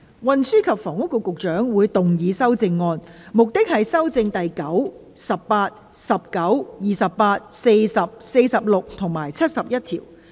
運輸及房屋局局長會動議修正案，旨在修正第9、18、19、28、40、46及71條。